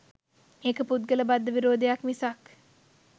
ඒක පුද්ගල බද්ධ විරෝධයක් මිසක්